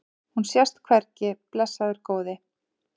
Hún sést hvergi, blessaður góði.